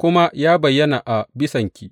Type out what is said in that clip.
kuma ya bayyana a bisanki.